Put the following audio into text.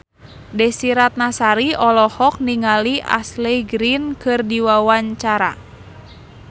Desy Ratnasari olohok ningali Ashley Greene keur diwawancara